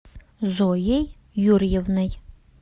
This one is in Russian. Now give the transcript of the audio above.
зоей юрьевной